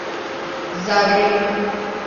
загреб